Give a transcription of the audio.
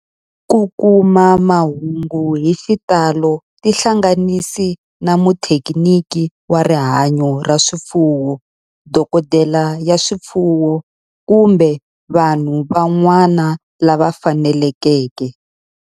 Ku kuma mahungu hi xitalo tihlanganisi na muthekiniki wa rihanyo ra swifuwo, dokodela ya swifuwo, kumbe vanhu van'wana lava fanelekeke.